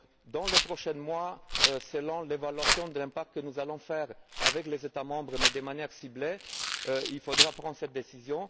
Dans les prochains mois, selon l'évaluation de l'impact que nous allons faire avec les États membres, mais de manière ciblée, il faudra prendre cette décision.